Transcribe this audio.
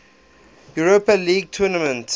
europa league tournament